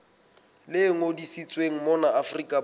le ngodisitsweng mona afrika borwa